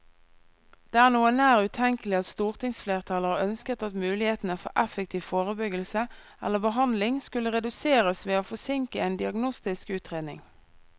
Det er noe nær utenkelig at stortingsflertallet har ønsket at mulighetene for effektiv forebyggelse eller behandling skulle reduseres ved å forsinke en diagnostisk utredning.